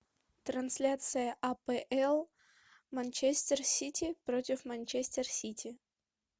трансляция апл манчестер сити против манчестер сити